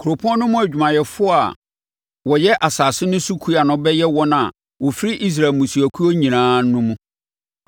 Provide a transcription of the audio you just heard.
Kuropɔn no mu adwumayɛfoɔ a wɔyɛ asase no so kua no bɛyɛ wɔn a wɔfiri Israel mmusuakuo nyinaa no mu.